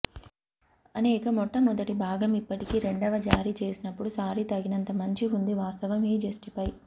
అనేక మొట్టమొదటి భాగం ఇప్పటికీ రెండవ జారీ చేసినప్పుడు సారి తగినంత మంచి ఉంది వాస్తవం ఈ జస్టిఫై